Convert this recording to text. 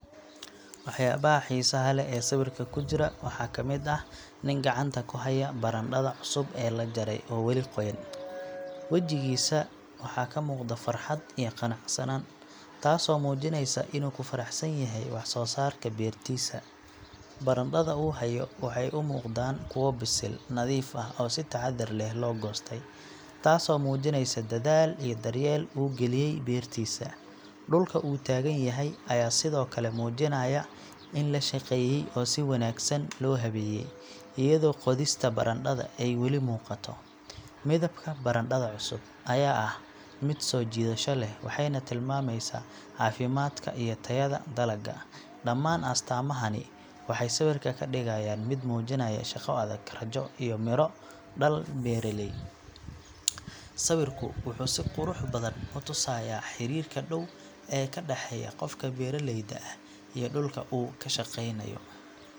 Waxyaabaha xiisaha leh ee sawirka ku jira waxaa ka mid ah nin gacanta ku haya barandhada cusub ee la jaray oo weli qoyan. Wajigiisa waxaa ka muuqda farxad iyo qanacsanaan, taasoo muujinaysa inuu ku faraxsan yahay wax soo saarka beertiisa. Barandhada uu hayo waxay u muuqdaan kuwo bisil, nadiif ah, oo si taxaddar leh loo goostay, taasoo muujinaysa dadaal iyo daryeel uu geliyey beertiisa. Dhulka uu taagan yahay ayaa sidoo kale muujinaya in la shaqeeyey oo si wanaagsan loo habeeyey, iyadoo qodista barandhada ay weli muuqato. Midabka barandhada cusub ayaa ah mid soo jiidasho leh, waxayna tilmaamaysaa caafimaadka iyo tayada dalagga. Dhammaan astaamahani waxay sawirka ka dhigayaan mid muujinaya shaqo adag, rajo iyo midho-dhal beeraley. Sawirku wuxuu si qurux badan u tusayaa xiriirka dhow ee ka dhexeeya qofka beeraleyda ah iyo dhulka uu ka shaqeynayo.